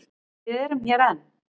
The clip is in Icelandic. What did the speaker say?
Við erum hér enn.